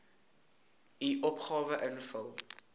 u opgawe invul